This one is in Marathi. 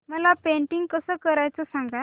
मला पेंटिंग कसं करायचं सांग